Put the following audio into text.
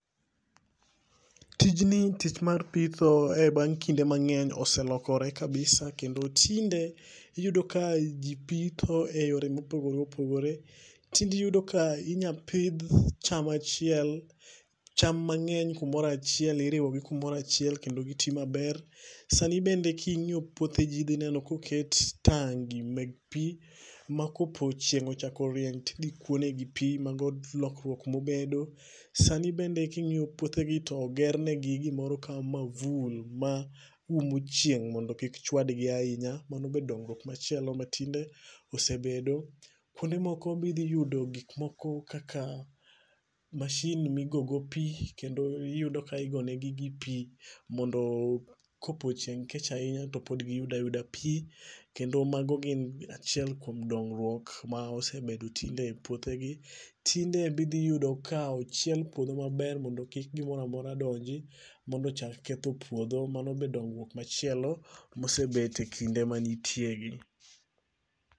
Tijni tich mar pitho e bang' kinde mangeny oselokore kabisa kendo tinde iyudo ka jii pitho e yore mopogore opogore ,tinde iyudo ka inyal oidh cham achiel, cham mangeny kumoro achiel, iriwogi kumoro achiel kendo gitii maber. Sani be kingiyo puothe jii idhi yudo ka oket tengi meg pii ma kopo chieng ochako riny to idhi kuo negi pii, mago lokruok mobedo. Sani bende kingiyo puothegi togernegi gimoro ka mavul maumo chieng' mondo kik chwadgi ahinya, mano be dongruok machielo ma tinde osebedo. Kuonde moko be idhi yudo gik moko kaka mashin migogo pii kendo iyudo ka igone gigi pii mondo kopo chieng' kech ahinya topod giyudo ayudo pii, kendo mano en achiel kuom dongruok ma osebedo e puothe gi. Tinde be idhi yudo ka ochiel puodho maber mondo kik gimoro mora donji mondo ochak ketho puotho, mano be dongruok machielo mosebete kinde ma nitie gi